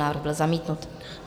Návrh byl zamítnut.